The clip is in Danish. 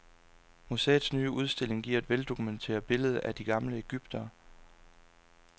Museets nye udstilling giver et veldokumenteret billede af de gamle egyptere.